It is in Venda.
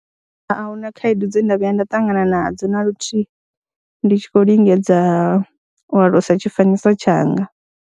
A hu na khaedu dze nda vhuya nda ṱangana nadzo na luthihi ndi tshi khou lingedza u alusa tshifanyiso tshanga.